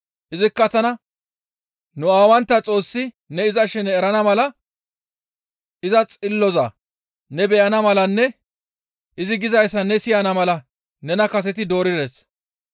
Izikka tana, ‹Nu aawantta Xoossi ne iza shene erana mala, iza xilloza ne beyana malanne izi gizayssa ne siyana mala nena kaseti doorides.